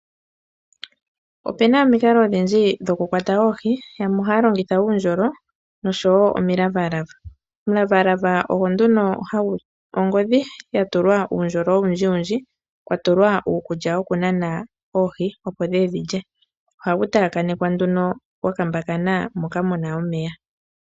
Opena omikalo odhindji dhoku kwata ooohi yamwe ohaya longitha uundjolo noshowo omilavalava. Omilavalava ongodhi ya tulwa uundjolo owundji wundji kwa tulwa uukulya woku nana oohi opo dhiye dhilye. Ohagu taakanekwa gwa kambakana moka muna omeya.